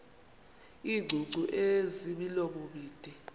iingcungcu ezimilomo mide